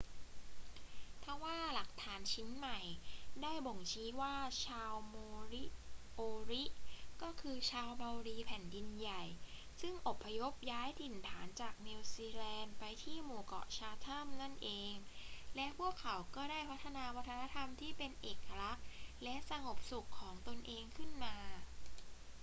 ทว่าหลักฐานชิ้นใหม่ได้บ่งชี้ว่าชาวโมริโอริก็คือชาวเมารีแผ่นดินใหญ่ซึ่งอพยพย้ายถิ่นฐานจากนิวซีแลนด์ไปที่หมู่เกาะชาแธมนั่นเอง และพวกเขาก็ได้พัฒนาวัฒนธรรมที่เป็นเอกลักษณ์และสงบสุขของตนเองขึ้นมา